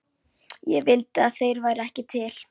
Ég vildi að þeir væru ekki til.